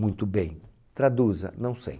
Muito bem, traduza, não sei.